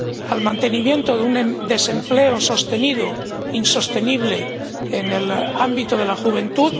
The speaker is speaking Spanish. al mantenimiento de un desempleo sostenido, insostenible en el ámbito de la juventud